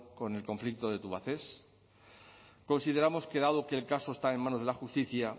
con el conflicto de tubacex consideramos que dado que el caso está en manos de la justicia